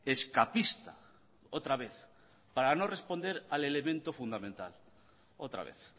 escapista otra vez para no responder al elemento fundamental otra vez